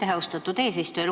Aitäh, austatud eesistuja!